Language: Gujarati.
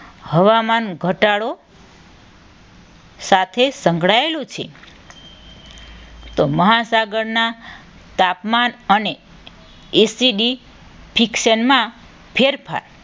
હવામાન ઘટાડો સાથે સંકળાયેલું છે. તો મહાસાગરના તાપમાન અને એસિટી ફિક્સન માં ફેરફાર